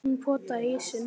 Hún potaði í ísinn.